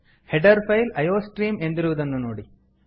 header file iostream ಎಂದಿರುವುದನ್ನು ನೋಡಿ